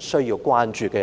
需要關注的一點。